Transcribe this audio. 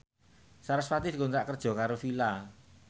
sarasvati dikontrak kerja karo Fila